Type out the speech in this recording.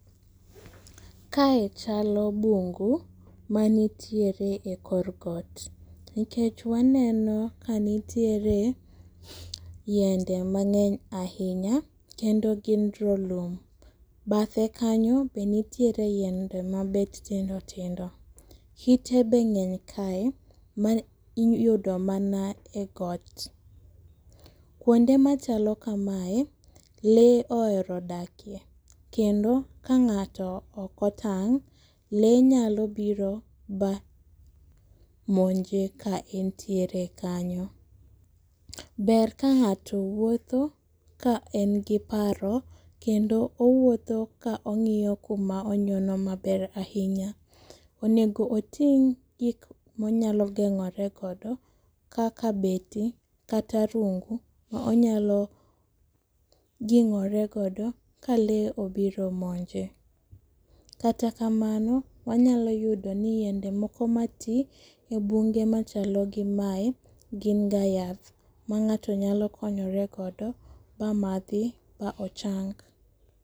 Kae chalo bungu manitiere ekor got.,Nikech waneno ka nitiere yinde mang'eny ahinya kendo gin drolum. Bathe kanyo be nitie yiende mabet tindo tindo. Kite be ng'eny kae ma iyudo mana egot. Kuonde machalo kamae lee ohero dakie kendo ka ng'ato ok otang'o ok otang' lee nyalo biro ba omonje ka entiere kanyo. Ber ka ng'ato wuotho ka en gi paro kendo owutho ka ong'iyo kuma onyono maber ahinya. Onego oting' gik monyalo geng'ore godo kaka beti kata rungu ma onyalo geng'oregodo ka lee obiro monje. Kata kamano wanyalo yudo ni yiende moko matii ebunge machalo gi mae gin ga yath ma ng'ato nyalo konyore godo ma mamadhi ma ochang.